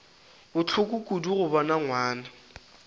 bohloko kudu go bona ngwana